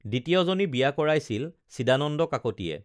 দ্বিতীয়জনী বিয়া কৰাইছিল চিদানন্দ কাকতীয়ে